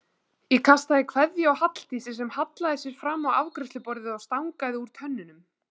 Ég kastaði kveðju á Halldísi sem hallaði sér fram á afgreiðsluborðið og stangaði úr tönnunum.